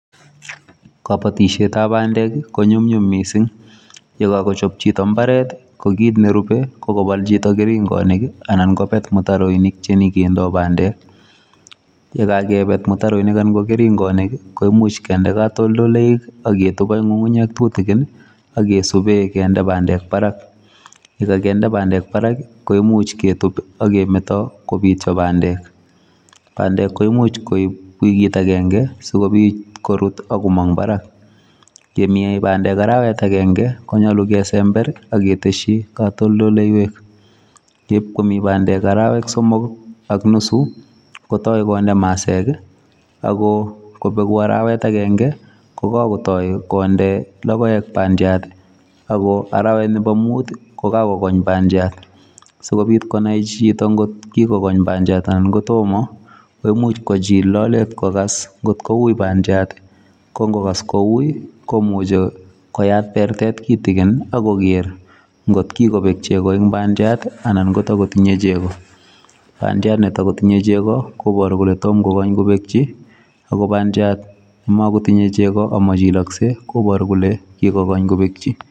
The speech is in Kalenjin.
Kabatisyeet ab pandeek ii ko nyumnyum missing ye kagechaap chitoo mbaret ko kiit ne rubee ko kobal chitoo keringanik ii anan ko beet mutaroinik che nyoon kindaa pandeek ye kakebeet mutaroinik anan ko keringanik ko imuuch kinde katoltoleiweek ak ketuub ak ngungunyeek tutukiin ii ak subeen kinde pandeek Barak ye kainde pandeek Barak koimuuch ketuub ii ak kemetaa kobityaa pandeek pandeek koimuuch sikobiit ak komaang Barak kemine pandeek arawet agenge konyaluu kesember ak ketesyii katoltoleiweek eb komii pandeek araweek somok ak nusu kotai konde maseek ak kobeegu araweet agenge kotaak konde ko kesen ako araweet nebo muut ii koka kogoony pandiat sikobiit konai chitoo koot ko kikokoony bandiat anan ko tomah ii koimuuch kochil lalet kokas kot ko wui pandiat ii ko ingokas ko wui komuchei koyaat bertet kitigin ako kerr koot ko kikobeeg chegoo en pandiat anan ko toma takotinyei chegoo pandiat ne takotinyei chego kobaruu kole toma kokaany koketyi ako pandiat ne matinyei chegoo kobaruu kole kigoong kobekyii.